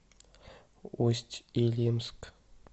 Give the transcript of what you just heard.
усть илимск